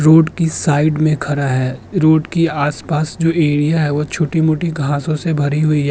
Road की side में खरा है। रोड की आसपास जो एरिया है वो छोटी-मोटी घासों से भरी हुई है।